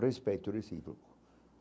Respeito recíproco.